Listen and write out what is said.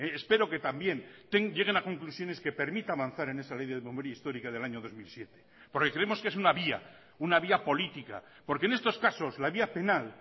espero que también lleguen a conclusiones que permita avanzar en esa ley de memoria histórica del año dos mil siete porque creemos que es una vía una vía política porque en estos casos la vía penal